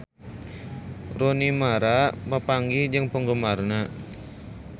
Rooney Mara papanggih jeung penggemarna